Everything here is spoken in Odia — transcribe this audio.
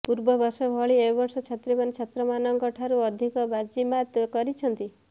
ପୂର୍ବବର୍ଷ ଭଳି ଏବର୍ଷ ଛାତ୍ରୀମାନେ ଛାତ୍ରମାନଙ୍କ ଠାରୁ ଅଧିକ ବାଜିମାତ୍ କରିଛନ୍ତି